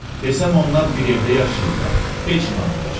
Desəm onlar bir evdə yaşayırlar, heç inanmayacaqsınız.